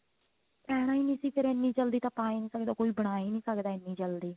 ਪੈਣਾ ਨਹੀਂ ਸੀ ਫੇਰ ਇੰਨੀ ਜਲਦੀ ਤਾਂ ਪਾ ਹੀ ਨਹੀਂ ਸਕਦਾ ਕੋਈ ਬਣਾ ਹੀ ਨਹੀਂ ਸਕਦਾ ਇੰਨੀ ਜਲਦੀ